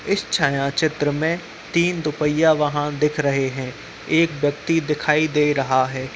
इस छाया चित्र में तीन दुपहिया वाहन दिख रहे हैं एक व्यक्ति दिखाई दे रहा है।